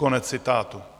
" Konec citátu.